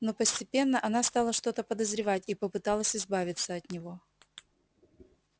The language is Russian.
но постепенно она стала что-то подозревать и попыталась избавиться от него